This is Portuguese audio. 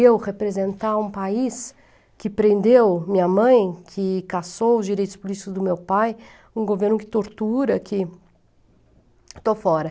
Eu representar um país que prendeu minha mãe, que caçou os direitos políticos do meu pai, um governo que tortura, que... Estou fora.